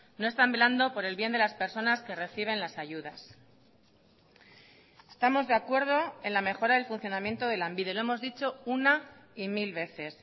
no están velando por el bien de las personas que reciben las ayudas estamos de acuerdo en la mejora del funcionamiento de lanbide lo hemos dicho una y mil veces